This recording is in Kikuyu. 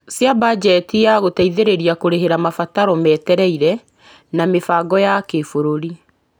Cia bajeti ya gũteithĩrĩria kũrĩhĩra mabataro metereire, na mĩbango ya kĩbũrũri.